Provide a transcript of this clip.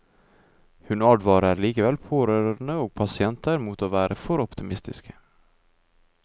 Hun advarer likevel pårørende og pasienter mot å være for optimistiske.